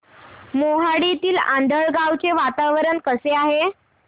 मोहाडीतील आंधळगाव चे वातावरण कसे आहे